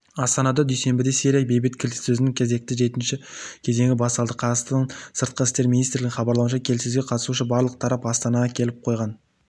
астанада дүйсенбіде сирия бейбіт келіссөзінің кезекті жетінші кезеңі басталады қазақстан сыртқы істер министрлігінің хабарлауынша келіссөзге қатысушы барлық тарап астанаға келіп қойған